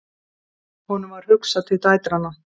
Honum varð hugsað til dætranna.